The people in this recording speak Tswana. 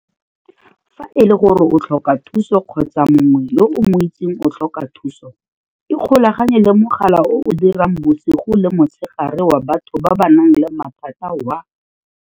Fa e le gore o tlhoka thuso kgotsa mongwe yo o mo itseng o tlhoka thuso, ikgolaganye le mogala o o dirang bosigo le motshegare wa batho ba ba nang le mathata wa